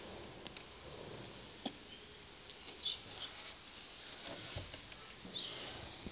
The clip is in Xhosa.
kuthe ngeli xesha